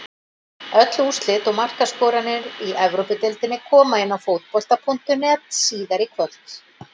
Öll úrslit og markaskorarar í Evrópudeildinni koma inn á Fótbolta.net síðar í kvöld.